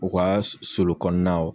U ka sulu kɔnɔnaw